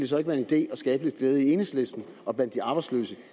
så ikke være en idé at skabe lidt glæde i enhedslisten og blandt de arbejdsløse